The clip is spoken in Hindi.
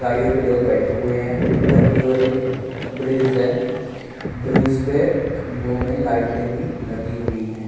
गाड़ीयो पर लोग बैठे हुए हैं। ऊपर कि और एक ब्रिज है। ब्रिज पे खंबों में लाइटों भी लगी हुई हैं।